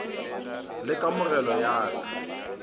le kamogelo ya ik ka